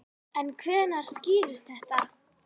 En hvenær skýrist þetta?